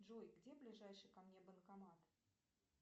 джой где ближайший ко мне банкомат